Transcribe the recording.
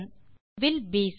இப்போது வில் பிசி